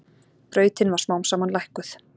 Brautin var smám saman lækkuð.